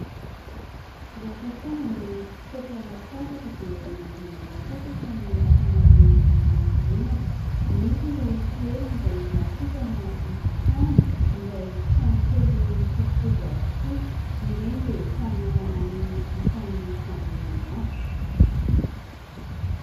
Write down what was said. Rehefa tonga ny fotoam-pialan-tsasatra dia mandeha miala sasatra ny ankamaroan'ny ankohonana. Misy ireo toerana izay natokana hivantanana, izay trano kely mitovitovy avokoa. Ireny dia samy manana ny isan'ny fandrianany avy.